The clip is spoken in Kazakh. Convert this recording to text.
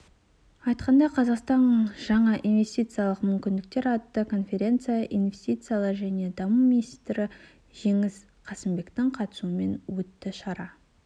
айтқандай қазақстан жаңа инвестициялық мүмкіндіктер атты конференция инвестициялар және даму министрі жеңіс қасымбектің қатысуымен өтті шара